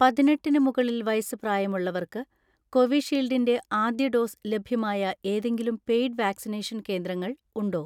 പതിനെട്ടിന് മുകളിൽ വയസ്സ് പ്രായമുള്ളവർക്ക് കോവിഷീൽഡിൻ്റെ ആദ്യ ഡോസ് ലഭ്യമായ ഏതെങ്കിലും പെയ്ഡ് വാക്സിനേഷൻ കേന്ദ്രങ്ങൾ ഉണ്ടോ?